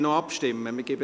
Wir stimmen noch ab.